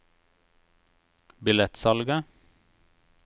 billettsalget